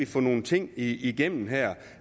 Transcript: få nogle ting igennem her